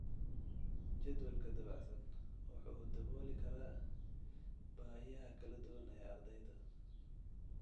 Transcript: Jadwalka dabacsan wuxuu dabooli karaa baahiyaha kala duwan ee ardayda.